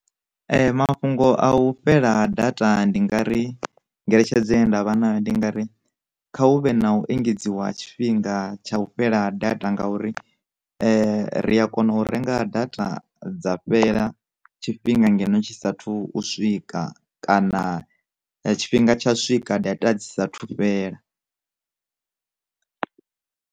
Mafhungo a u fhela data ndi nga ri ngeletshedzo nda vhana ndi nga ri, kha hu vhe na u engedziwa tshifhinga tsha u fhela data ngauri ri a kona u renga data dza fhela tshifhinga ngeno tshi saathu u swika, kana tshifhinga tsha swika data dzi sa thu fhela.